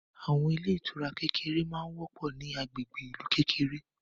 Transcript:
Àwọn ilé ìtura kékèké ma ń wọ́pọ̀ ní agbègbè ìlú kékèké